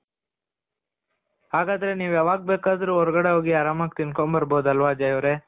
ಹಾಗಾದ್ರೆ ನೀವು ಯಾವಾಗ ಬೇಕಾದ್ರೂ ಹೊರಗಡೆ ಹೋಗಿ ಆರಾಮಾಗಿ ತಿನ್ಕೊ ಬರ್ಬೊದು ಅಲ್ವ ಅಜಯ್ ಅವರೆ.